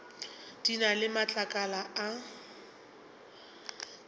di na le matlakala a